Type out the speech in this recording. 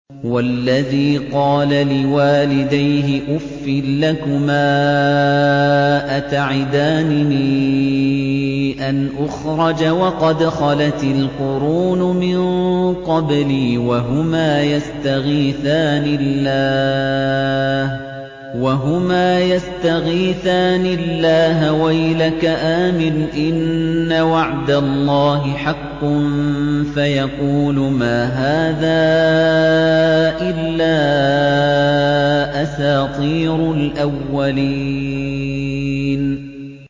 وَالَّذِي قَالَ لِوَالِدَيْهِ أُفٍّ لَّكُمَا أَتَعِدَانِنِي أَنْ أُخْرَجَ وَقَدْ خَلَتِ الْقُرُونُ مِن قَبْلِي وَهُمَا يَسْتَغِيثَانِ اللَّهَ وَيْلَكَ آمِنْ إِنَّ وَعْدَ اللَّهِ حَقٌّ فَيَقُولُ مَا هَٰذَا إِلَّا أَسَاطِيرُ الْأَوَّلِينَ